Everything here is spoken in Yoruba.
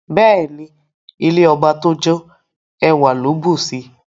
Beeni, ilẹ̀ ọbà tó jó, èwà kò ló bùṣí.